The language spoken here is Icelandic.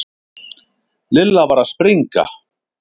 Lilla var að springa.